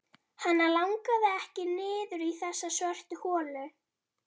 Hana langaði ekki niður í þessa svörtu holu.